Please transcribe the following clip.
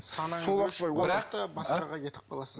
бірақ та басқаға кетіп қаласыз